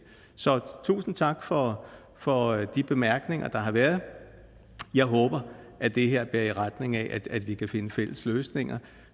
så tusind tak for for de bemærkninger der har været jeg håber at det her bærer i retning af at vi kan finde fælles løsninger